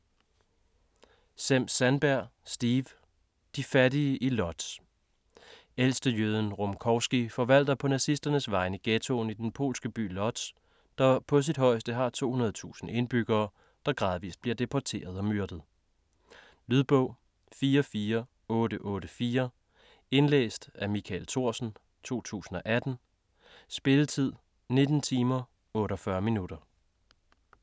Sem-Sandberg, Steve: De fattige i Lodz Ældstejøden Rumkowski forvalter på nazisternes vegne ghettoen i den polske by Lodz, der på sit højeste har 200.000 indbyggere, der gradvist bliver deporteret og myrdet. Lydbog 44884 Indlæst af Michael Thorsen, 2018. Spilletid: 19 timer, 48 minutter.